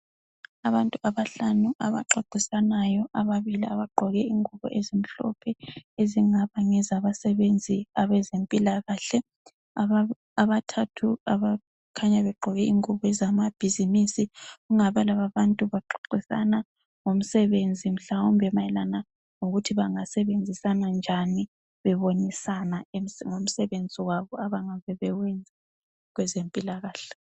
Abantu abahlanu abaxoxisanayo ababili abagqoke ingubo ezimhlophe ezingaba ngezabasebenzi abezempilakahle, abathathu abakhanya begqoke ingubo zamabhizimisi ngabe laba abantu baxoxisana ngomsebenzi mhlawumbe mayelana ngokuthi bangasebenzisana njani bebonisana ngomsebenzi wabo abangabe bewenza kwezempilakahle.